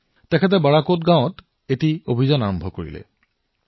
তাৰ পিছত কি হলবিজয় জীয়ে বাৰাকোট গাঁৱৰ পৰা তেওঁৰ অভিযান আৰম্ভ কৰিলে